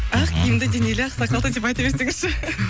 ақ киімді денелі ақсақалды деп айта берсеңізші